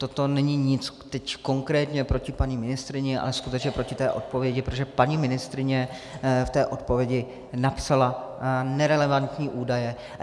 Toto není nic teď konkrétně proti paní ministryni, ale skutečně proti té odpovědi, protože paní ministryně v té odpovědi napsala nerelevantní údaje.